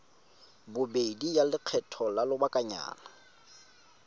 bobedi ya lekgetho la lobakanyana